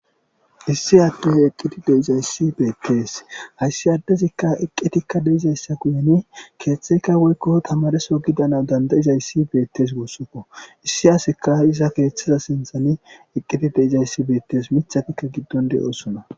issi adde eqqiti deizayssi beettees hayssi addezikka eqqetikka deizayssa guyeni keeththeyka woykko tamadeso gidana dandayizayssi beettes wossokko issi aseka iza keeththeza sinthane eqqeti deizayssi beettes mithakikka giddon de7oosona